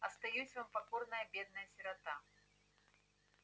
остаюсь вам покорная бедная сирота